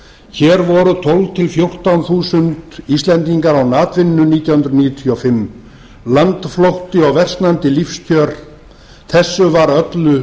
hér voru tólf til fjórtán þúsund íslendingar án atvinnu árið nítján hundruð níutíu og fimm landflótti og versnandi lífskjör þessu var öllu